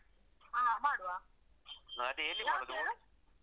ಹಾ, ಮಾಡುವ. ಯಾವತ್ಹೇಳು?